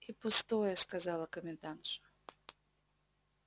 и пустое сказала комендантша